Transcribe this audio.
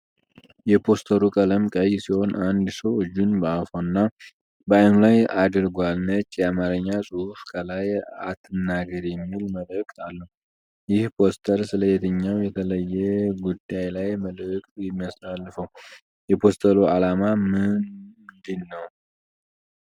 የፖስተሩ ቀለም ቀይ ሲሆን አንድ ሰው እጁን በአፉና በአይኑ ላይ አድርጓል። ነጭ የአማርኛ ጽሑፍ ከላይ “አትናገር” የሚል መልእክት አለው። ይህ ፖስተር ስለ የትኛው የተለየ ጉዳይ ነው መልእክት የሚያስተላልፈው? የፖስተሩ ዓላማ ምንድን ነው?